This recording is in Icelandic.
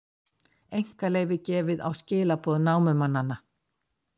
Einkaleyfi gefið á skilaboð námumannanna